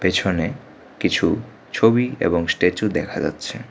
পেছনে কিছু ছবি এবং স্ট্যাচু দেখা যাচ্ছে।